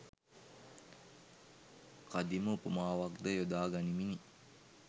කදිම උපමාවක් ද යොදා ගනිමිනි.